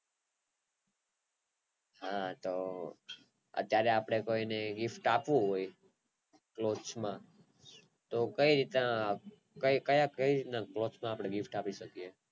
હા તો અત્યારે આપણે કોઈ ને gift આપવું હોય મેચ માં તો કય રીત ના કે રીત ના બોક્સ માં આપડે gift આપી શકીયે.